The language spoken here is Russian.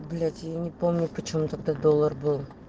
блять я не помню почём тогда доллар был